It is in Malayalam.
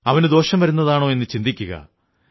അവന് ദോഷം വരുന്നതാണോ എന്നു ചിന്തിക്കുക